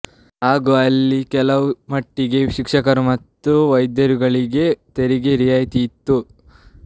ಹಾಗೂ ಅಲ್ಲಿ ಕೆಲವು ಮಟ್ಟಿಗೆ ಶಿಕ್ಷಕರು ಮತ್ತು ವೈದ್ಯರುಗಳಿಗೆ ತೆರಿಗೆ ರಿಯಾಯಿತಿ ಇತ್ತು